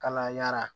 Kalayara